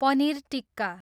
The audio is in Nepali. पनिर टिक्का